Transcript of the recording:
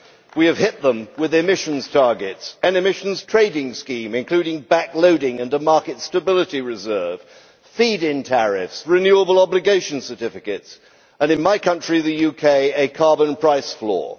We have hit them with emissions targets, an emissions trading scheme including backloading and a market stability reserve feed in tariffs, renewable obligations certificates and, in my country the UK a carbon price floor.